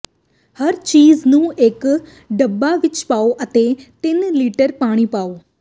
ਹਰ ਚੀਜ਼ ਨੂੰ ਇਕ ਡੱਬਾ ਵਿਚ ਪਾਓ ਅਤੇ ਤਿੰਨ ਲੀਟਰ ਪਾਣੀ ਪਾਓ